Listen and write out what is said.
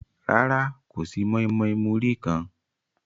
Rárá, kò sí mọ́ímọ́í múrí kan.